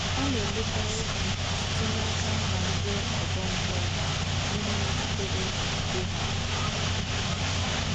A na-emekarị ha site n’aka mba ndị ọgọ mmụọ n’ihe metụtara okpukpe ha.